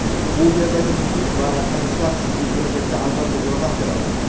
u yerdagi muhit va tanishlar sizga kelajakda albatta yordam beradi.